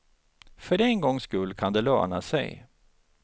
För en gångs skull kan det löna sig.